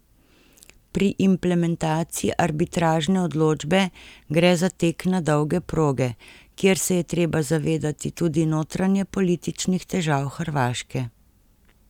Pri implementaciji arbitražne odločbe gre za tek na dolge proge, kjer se je treba zavedati tudi notranjepolitičnih težav Hrvaške.